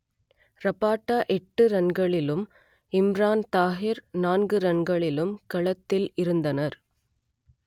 Rabada எட்டு ரன்களிலும் இம்ரான் தாஹிர் நான்கு ரன்களிலும் களத்தில் இருந்தனர்